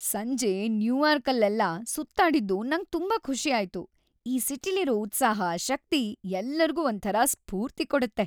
ಸಂಜೆ ನ್ಯೂಯಾರ್ಕಲ್ಲೆಲ್ಲ ಸುತ್ತಾಡಿದ್ದು ನಂಗ್ ತುಂಬಾ ಖುಷಿ ಆಯ್ತು. ಈ ಸಿಟಿಲಿರೋ ಉತ್ಸಾಹ, ಶಕ್ತಿ ಎಲ್ಲರ್ಗೂ ಒಂಥರ ಸ್ಫೂರ್ತಿ ಕೊಡತ್ತೆ.